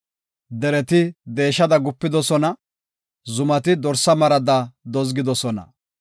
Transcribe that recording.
Dereti deeshada gupidosona; zumati dorsa marada dozgidosona.